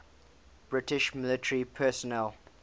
british military personnel